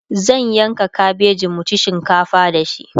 zan yanka kabeji mu ci shinkafa da shi